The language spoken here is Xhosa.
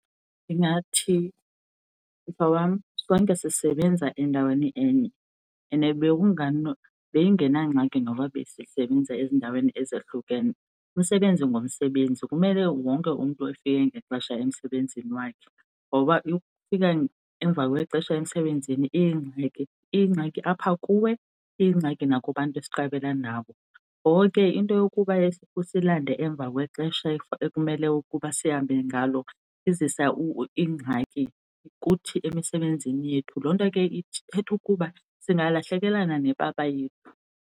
Ndingathi, mhlobam, sonke sisebenza endaweni enye and beyingenangxaki noba besisebenza ezindaweni ezohlukene, umsebenzi ngumsebenzi kumele wonke umntu efike ngexesha emsebenzini wakhe. Ngoba ukufika emva kwexesha emsebenzini iyingxaki, iyingxaki apha kuwe, iyingxaki nakubantu siqabela nabo. Ngoko ke into yokuba usilande emva kwexesha ekumele ukuba sihambe ngalo izisa ingxaki kuthi emisebenzini yethu, loo nto ke ithetha ukuba singalahlekelana nepapa yethu,